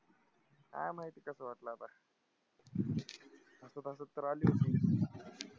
काय माहित कसं वाटलं आता? हसत हसत तर अली होती.